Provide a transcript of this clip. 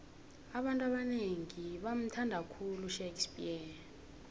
abantu abanengi bamuthnada khulu ushakespears